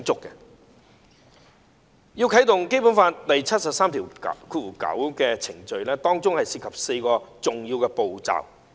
如要啟動《基本法》第七十三條第九項的程序，當中涉及4個重要步驟。